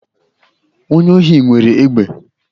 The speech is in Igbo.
Onye ohi nwere egbe